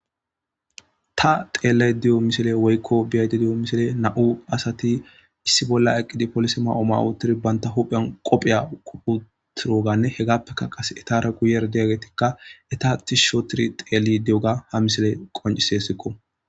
ta xeelle diyo misile woykko biyadi diyo misile na7u asati issi bolla eqqidi polis ma7ooma uotiri banta huphen qopheya kuputiroganne hegappeka qas etare guyer deyagetikka eta ti shootiri xeeli di7oga ha misile qonciseessikko